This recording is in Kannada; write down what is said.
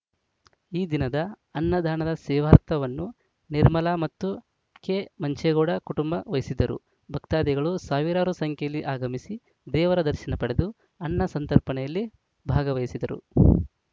ಈ ದಿನದ ಅನ್ನದಾನದ ಸೇವಾರ್ಥವನ್ನು ನಿರ್ಮಲಾ ಮತ್ತು ಕೆಮಂಚೇಗೌಡ ಕುಟುಂಬ ವಹಿಸಿದ್ದರು ಭಕ್ತಾದಿಗಳು ಸಾವಿರಾರು ಸಂಖ್ಯೆಯಲ್ಲಿ ಆಗಮಿಸಿ ದೇವರ ದರ್ಶನ ಪಡೆದು ಅನ್ನ ಸಂತರ್ಪಣೆಯಲ್ಲಿ ಭಾಗವಹಿಸಿದರು